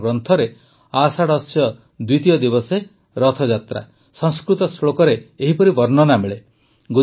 ଆମର ଗ୍ରନ୍ଥରେ ଆଷାଢ଼ସ୍ୟ ଦ୍ୱିତୀୟ ଦିବସେ ରଥଯାତ୍ରା ସଂସ୍କୃତ ଶ୍ଳୋକରେ ଏହିପରି ବର୍ଣ୍ଣନା ମିଳେ